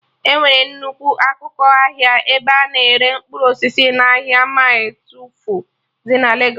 Enwere nnukwu akụkụ ahịa ebe a na-ere mkpụrụ osisi n'ahịa mịle twelfụ dị na Legos